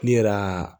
Ne yɛrɛ